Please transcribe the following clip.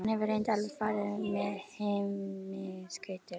Hann hefur reyndar alveg farið með himinskautum.